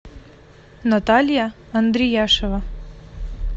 наталья андрияшева